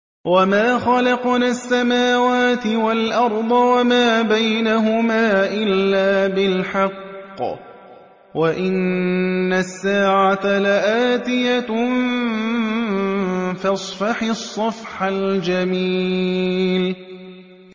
وَمَا خَلَقْنَا السَّمَاوَاتِ وَالْأَرْضَ وَمَا بَيْنَهُمَا إِلَّا بِالْحَقِّ ۗ وَإِنَّ السَّاعَةَ لَآتِيَةٌ ۖ فَاصْفَحِ الصَّفْحَ الْجَمِيلَ